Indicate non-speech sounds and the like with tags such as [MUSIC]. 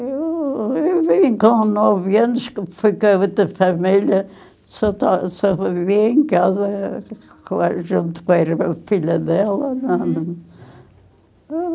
Eu eu vim com nove anos, fui com a outra família, só to só vivia em casa junto com irmã a filha dela. [UNINTELLIGIBLE]